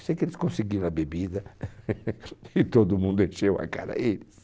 Eu sei que eles conseguiram a bebida e todo mundo encheu a cara eles.